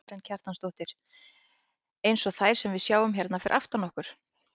Karen Kjartansdóttir: Eins og þær sem við sjáum hérna fyrir aftan okkur?